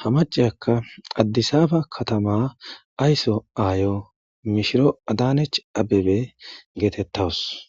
ha macayakka addisaaba katama aysso aayo mishiro adanech abebe geetettawus.